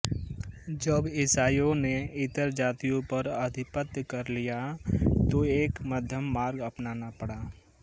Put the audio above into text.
जब ईसाइयों ने इतर जातियों पर आधिपत्य कर लिया तो एक मध्यम मार्ग अपनाना पड़ा